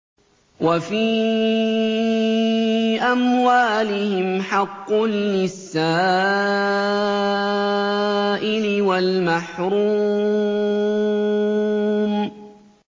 وَفِي أَمْوَالِهِمْ حَقٌّ لِّلسَّائِلِ وَالْمَحْرُومِ